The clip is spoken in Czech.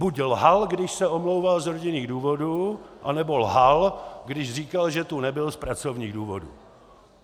Buď lhal, když se omlouval z rodinných důvodů, anebo lhal, když říkal, že tu nebyl z pracovních důvodů.